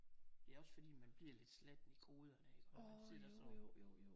Det er også fordi man bliver lidt slatten i hovederne iggå man sidder sådan